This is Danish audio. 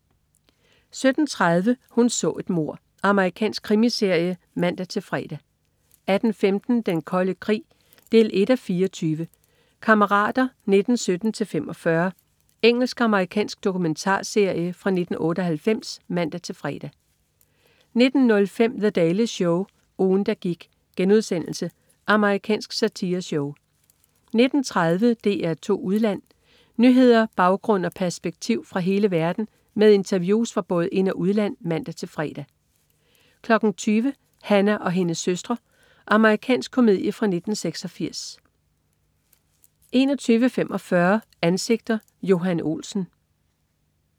17.30 Hun så et mord. Amerikansk krimiserie (man-fre) 18.15 Den Kolde Krig. 1:24 "Kammerater 1917-45" Engelsk/amerikansk dokumentarserie fra 1998 (man-fre) 19.05 The Daily Show, ugen, der gik.* Amerikansk satireshow 19.30 DR2 Udland. Nyheder, baggrund og perspektiv fra hele verden med interviews fra både ind- og udland (man-fre) 20.00 Hannah og hendes søstre. Amerikansk komedie fra 1986 21.45 Ansigter: Johan Olsen